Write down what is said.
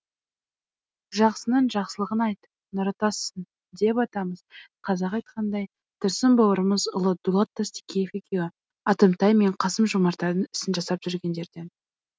жақсының жақсылығын айт нұры тасысын деп атамыз қазақ айтқандай тұрсын бауырымыз ұлы дулат тастекеев екеуі атымтай мен қасым жомарттардың ісін жасап жүргендерден